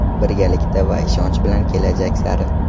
Birgalikda va ishonch bilan kelajak sari!.